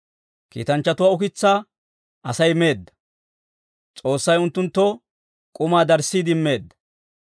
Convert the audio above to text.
Kiitanchchatuwaa ukitsaa Asay meedda; S'oossay unttunttoo k'umaa darissiide immeedda.